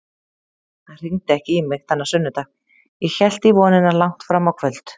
Hann hringdi ekki í mig þennan sunnudag, ég hélt í vonina langt fram á kvöld.